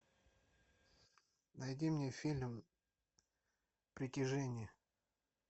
найди мне фильм притяжение